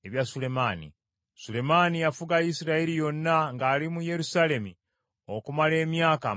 Sulemaani yafuga Isirayiri yonna ng’ali mu Yerusaalemi okumala emyaka amakumi ana.